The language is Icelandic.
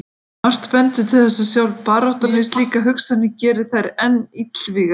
Margt bendir til þess að sjálf baráttan við slíkar hugsanir geri þær enn illvígari.